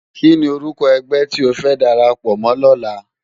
Kini órúkò ègbè ti ó fè dàrápò mò lòlá?